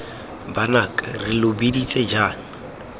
banaka re lo biditse jaana